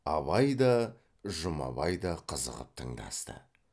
абай да жұмабай да қызығып тыңдасты